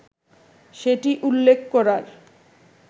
সেটি উল্লেখ করার